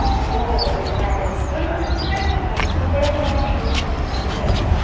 हो ते तर आहेच गं, पण आता काय करणार school कडे पण option नव्हतचं ना गं त्यावेळी